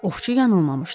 Ovçu yanılmamışdı.